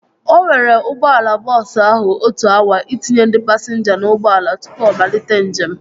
O were ụgbọala bọọsu ahụ otu awa itinye ndị pasinja na ụgbọala tụpụ ọ malite njem